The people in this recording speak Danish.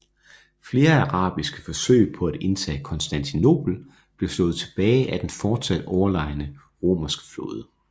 Flere arabiske forsøg på at indtage Konstantinopel blev slået tilbage af den fortsat overlegne romerske flåde